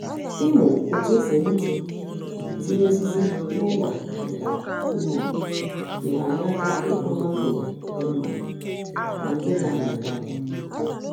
Ịmụ otu e si egbutu tinye osisi n'ụlọ nka ugbo nyere anyị aka ikụ mangoro dị mma na nke na-amị ngwa ngwa.